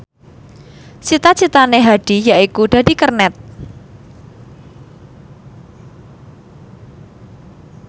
cita citane Hadi yaiku dadi kernet